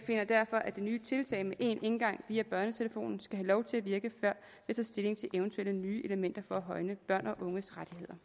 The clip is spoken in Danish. finder derfor at det nye tiltag med én indgang via børnetelefonen skal have lov til at virke før vi tager stilling til eventuelle nye elementer for at højne børns